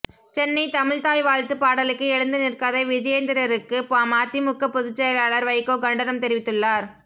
சென்னை தமிழ்த்தாய் வாழ்த்து பாடலுக்கு எழுந்து நிற்காத விஜயேந்திரருக்கு மதிமுக பொதுச்செயலாளர் வைகோ கண்டனம் தெரிவித்துள்ளார்